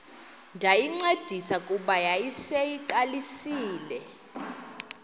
ndayincedisa kuba yayiseyiqalisile